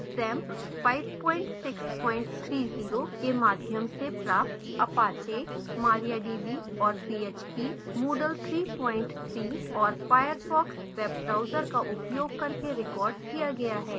xampp 5630 के माध्यम से प्राप्त apache mariadb और php